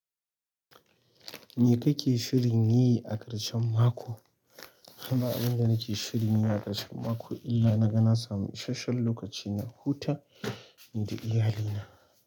Me kake shirin yi a ƙarshen mako? Kama abin da nake shirin yi a ƙarshen mako kila na naga na samu isasshen lokaci na huta nida iyalina.